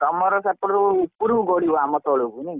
ତମର ସେପଟକୁ ଉପରକୁ ଗାଡିବ ଆମ ତଳକୁ ନାହି।